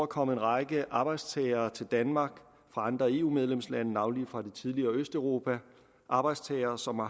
kommet en række arbejdstagere til danmark fra andre eu medlemslande navnlig fra det tidligere østeuropa arbejdstagere som har